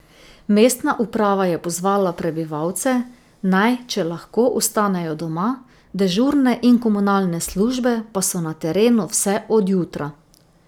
Mestna uprava je pozvala prebivalce, naj, če lahko, ostanejo doma, dežurne in komunalne službe pa so na terenu vse od jutra.